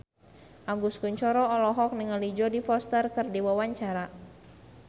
Agus Kuncoro olohok ningali Jodie Foster keur diwawancara